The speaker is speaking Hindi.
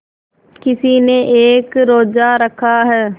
किसी ने एक रोज़ा रखा है